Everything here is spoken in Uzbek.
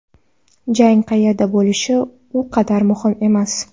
Jang qayerda bo‘lishi u qadar muhim emas.